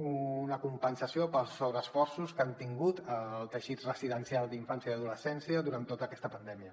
una compensació pels sobreesforços que han tingut al teixit residencial d’infància i adolescència durant tota aquesta pandèmia